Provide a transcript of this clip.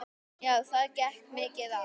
Já, það gekk mikið á.